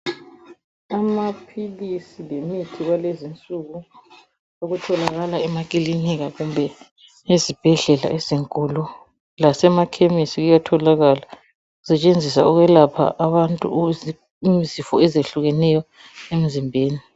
Amaphilisi lemithi kwalezinsuku okutholakala emaklinika kumbe ezibhedlela ezinkulu. Lasemakhemisi kuyatholakala kusetshenziswa ukwelapha abantu ukuze izifo ezitshiyeneyo emzimbeni.